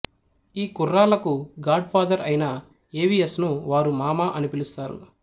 ఈ కుర్రాళ్ళకు godfather అయిన ఎ వి ఎస్ ను వారు మామ అని పిలుస్తారు